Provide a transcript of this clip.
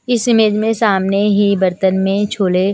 इस इमेज में सामने ही बर्तन में छोले--